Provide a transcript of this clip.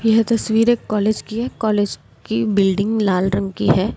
यह तस्वीर एक कॉलेज की है कॉलेज की बिल्डिंग लाल रंग की है।